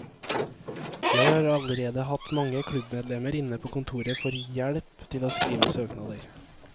Jeg har allerede hatt mange klubbmedlemmer inne på kontoret for hjelp til å skrive søknader.